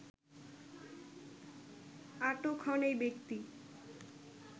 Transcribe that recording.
আটক হন ঐ ব্যক্তি